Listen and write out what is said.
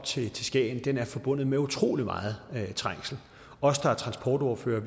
til skagen er forbundet med utrolig meget trængsel os der er transportordførere